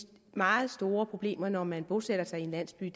meget store problemer når man bosætter sig i en landsby